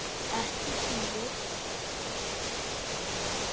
Ekki síður.